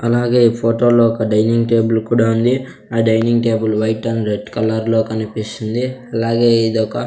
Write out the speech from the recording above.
అలాగే ఈ ఫోటో లో ఒక డైనింగ్ టేబుల్ కూడా ఉంది. ఆ dining table white and red colour లో కనిపిస్తుంది అలాగే ఇదొక --